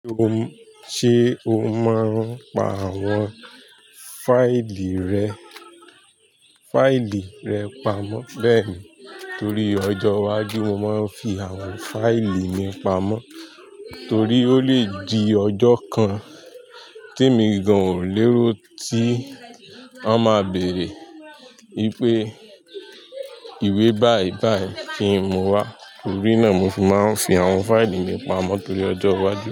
Ṣé o máa ń pa àwọn fáìlì rẹ, fáìlì rẹ pamọ́? Bẹ́ẹ̀ni, torí ọjọ́ iwájú mo máa ń fi àwọn fáìlì mi pamọ́ torí ó lè di ọjọ́ kan temi gan ò lérò tí wọ́n ma béèrè wípé ìwé báì báì kí n mú wá. Torí náà mo fi máa ń fi àwọn fáìlì mi pamọ́ torí ọjọ́ iwájú.